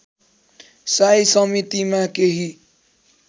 साई समितिमा केही